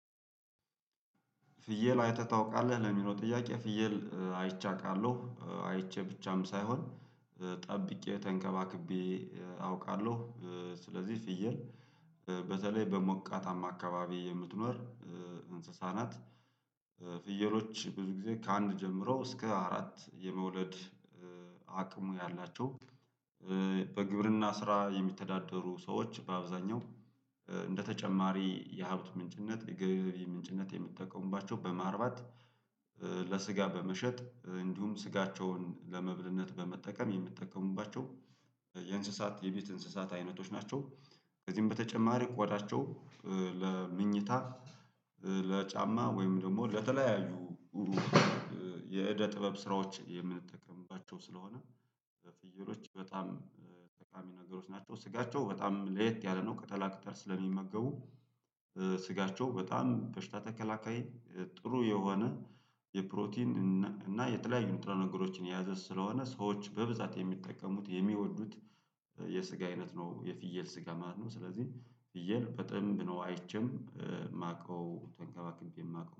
ፍየል አይተህ ታውቃለህ ለሚለው ጥያቄ? ፍየል አይቼ አውቃለው አይቼ ብቻም ሳይሆን ጠብቄ ተንከባክቤ አውቃለሁ። ስለዚህ ፍየል በተለይ በሞቃታማ አካባቢ የምትኖር እንስሳ ናት። ፍየሎች ብዙ ጊዜ ከአንድ ጀምሮ እስከ አራት የመውለድ አቅሙ ያላቸው። በግብርና ስራ የሚተዳደሩ ሰዎች በአብዛኛው እንደተጨማሪ የሀብት ምንጭነት የገቢ ምንጭነት የሚጠቀሙባቸው በማርባት ለስጋ በመሸጥ እንዲሁም ስጋቸውን ለመብልነት በመጠቀም የምትጠቀሙባቸው የእንስሳት የቤት እንስሳት አይነቶች ናቸው። ከዚህም በተጨማሪ ቆዳቸው ለመኝታ ለጫማ ወይም ደግሞ ለተለያዩ የእደ ጥበብ ስራዎች የምንጠቀምባቸው ስለሆነ በፍየሎች በጣም ጠቃሚ ነገሮች ናቸው። ስጋቸው በጣም ለየት ያለ ነው ቅጠላ ቅጠል ስለሚመገቡ ስጋቸው በጣም በሽታ ተከላካይ ጥሩ የሆነ የፕሮቲን እና የተለያዩ ንጥረ ነገሮችን የያዘ ስለሆነ ሰዎች በብዛት የሚጠቀሙት የሚወዱት የስጋ አይነት ነው። የፍየል ስጋ ማለት ነው። ስለዚህ ፍየል በጠንብ ነው አይቼም የማውቀው ተንከባክቤም የማውቀው